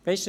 Besten